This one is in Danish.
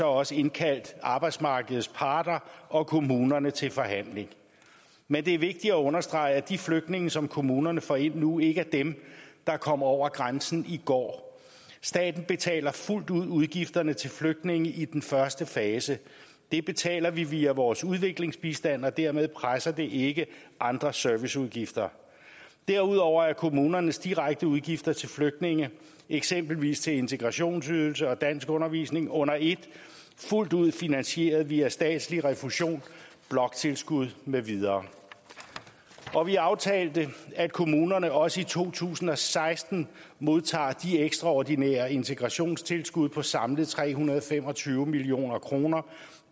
også indkaldt arbejdsmarkedets parter og kommunerne til forhandling men det er vigtigt at understrege at de flygtninge som kommunerne får ind nu ikke er dem der kom over grænsen i går staten betaler fuldt ud udgifterne til flygtninge i den første fase det betaler vi via vores udviklingsbistand og dermed presser det ikke andre serviceudgifter derudover er kommunernes direkte udgifter til flygtninge eksempelvis til integrationsydelse og danskundervisning under et fuldt ud finansieret via statslig refusion bloktilskud med videre og vi aftalte at kommunerne også i to tusind og seksten modtager de ekstraordinære integrationstilskud på samlet tre hundrede og fem og tyve million kroner